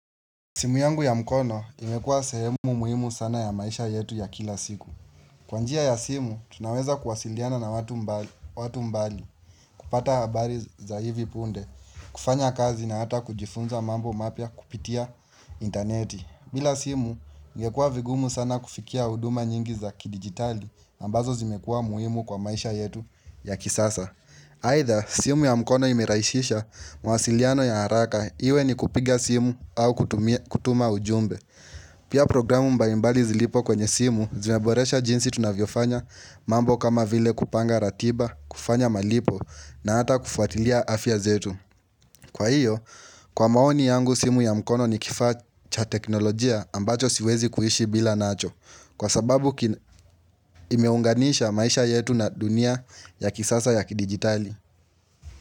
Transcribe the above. Simu yangu ya mkono imekuwa sehemu muhimu sana ya maisha yetu ya kila siku. Kwa njia ya simu, tunaweza kuwasiliana na watu mbali kupata habari za hivi punde, kufanya kazi na hata kujifunza mambo mapia kupitia interneti. Bila simu, ingekuwa vigumu sana kufikia uduma nyingi za kidigitali ambazo zimekuwa muhimu kwa maisha yetu ya kisasa. Aidha simu ya mkono imerahisisha mawasiliano ya haraka iwe ni kupiga simu au kutuma ujumbe. Pia programu mbalimbali zilipo kwenye simu zinaboresha jinsi tunavyofanya mambo kama vile kupanga ratiba, kufanya malipo na hata kufuatilia afya zetu. Kwa hiyo, kwa maoni yangu simu ya mkono ni kifaa cha teknolojia ambacho siwezi kuishi bila nacho kwa sababu imeunganisha maisha yetu na dunia ya kisasa ya kidigitali.